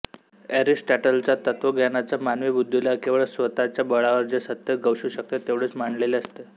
एरिस्टॉटलच्या तत्वज्ञानात मानवी बुद्धीला केवळ स्वतच्या बळावर जे सत्य गवसू शकते तेवढेच मांडलेले असते